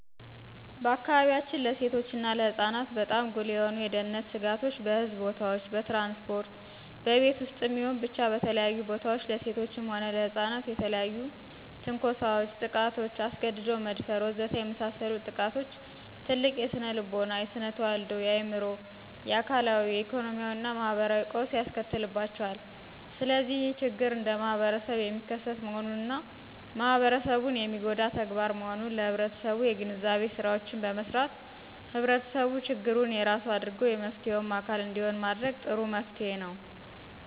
በአካባቢያችን ለሴቶች እና ለሕፃናት በጣም ጉልህ የሆኑ የደህነት ስጋቶች በሕዝብ ቦታዎች፣ በትራንስፖርት፣ በቤት ውስጥም ይሁን ብቻ በተለያዩ ቦታዎች ለሴቶችም ሆነ ለሕፃናት የተለያዩ ትንኮሳዎች፣ ጥቃቶች፣ አስገድዶ መደፈር ወዘተ የመሳሰሉት ጥቃቶች ትልቅ የስነልቦና፣ የስነተዋልዶ፣ የአዕምሮ፣ የአካላዊ፣ የኢኮኖሚያዊና ማህበራዊ ቀውስ ያስከትልባቸዋል። ስለዚህ ይህ ችግር እንደማህበረሰብ የሚከሰት መሆኑንና ማህበረሰቡን የሚጎዳ ተግባር መሆኑን ለህብረተሰቡ የግንዛቤ ስራዎችን በመስራት ህብረተሰቡ ችግሩን የራሱ አድርጎ የመፍትሔውም አካል እንዲሆን ማድረግ ጥሩ መፍትሔ ነው።